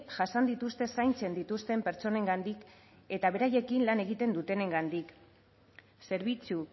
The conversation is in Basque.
jasan dituzte zaintzen dituzten pertsonengandik eta beraiekin lan egiten dutenengandik zerbitzu